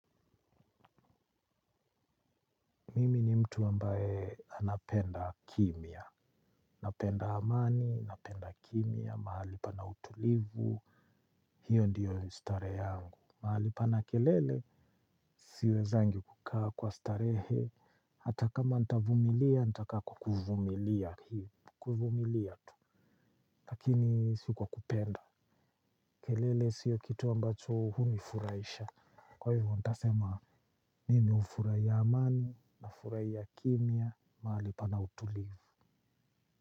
Mimi ni mtu ambaye anapenda kimia, napenda amani, napenda kimia, mahali pana utulivu, hiyo ndiyo ustare yangu. Mahali pana kelele, siwezangi kukaa kwa starehe, hata kama ntavumilia, ntaka kukuvumilia kuvumilia tu, lakini sikuwa kupenda, kelele siyo kitu ambacho hunifuraisha. Kwa hivyo, ntasema, nimi ufuraiya amani, nafuraiya kimia, mahali pana utulivu. Kwa hivyo.